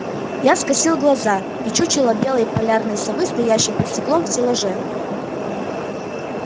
я скосил глаза и чучело белой полярной совы стоящее под стеклом в стеллаже